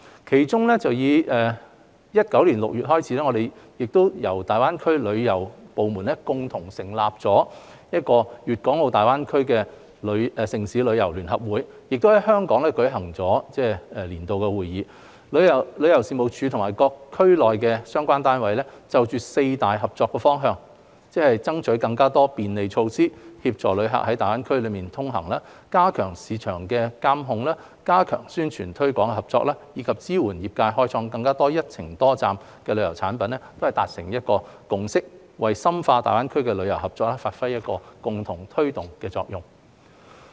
其中於2019年6月，由大灣區旅遊部門共同成立的"粵港澳大灣區城市旅遊聯合會"亦在香港舉行了年度會議，旅遊事務署與區內各相關單位就四大合作方向，即爭取更多便利措施協助旅客在大灣區內通行、加強市場監管、加強宣傳推廣合作，以及支援業界開發更多"一程多站"旅遊產品達成共識，為深化大灣區旅遊合作發揮共同推動的作用。